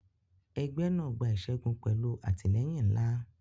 Ẹgbẹ́ náà gba ìṣẹ́gun pẹ̀lú àtìlẹ́yìn ńlá.